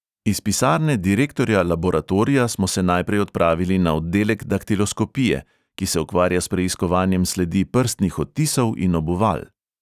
Iz pisarne direktorja laboratorija smo se najprej odpravili na oddelek daktiloskopije, ki se ukvarja s preiskovanjem sledi prstnih odtisov in obuval.